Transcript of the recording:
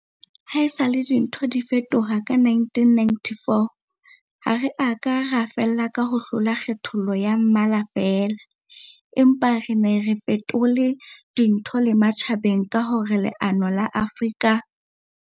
Haesale dintho di fetoha ka 1994, ha re a ka ra fella ka ho hlola kgethollo ya mmala feela, empa re ne re fetole dintho le matjhabeng ka hore leano la Afrika.